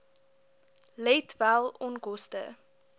let wel onkoste